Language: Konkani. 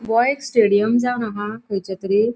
ह्यो एक स्टेडियम जावन आहा खयचो तरी.